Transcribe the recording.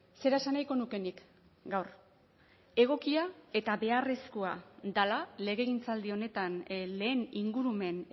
zera esan nahiko nuke nik gaur beharrezkoa dela legegintzaldi honetan lehen ingurumen